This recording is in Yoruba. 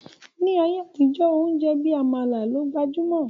Ni ayé àtijọ́, oúnjẹ bí Àmàlà ló gbajúmọ̀